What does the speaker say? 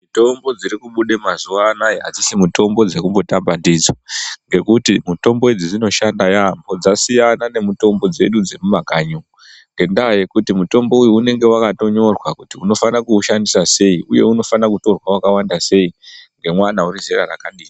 Mitombo dziri kubuda mazuwananaya adzisi mutombo dzekumbotamba ndidzo ngekuti mitombo idzi dzinoshanda yaambo ngekuti dzasiyana nemitombo dzedu dzemumakanyi ngendaa yekuti mutombo uyu unenge wakatonyorwa kuti unoshandisa sei uye unofana kutorwa wakawanda sei, ngemwana wezera rakadini.